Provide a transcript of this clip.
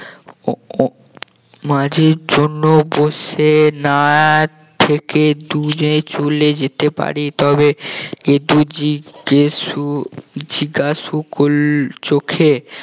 মাঝির জন্য বসে না থেকে দুজনে চলে যেতে পারি তবে গেদু জিজ্ঞাসু করলে চোখে